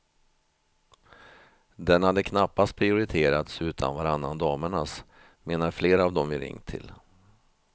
Den hade knappast prioriterats utan varannan damernas, menar flera av de vi ringt till.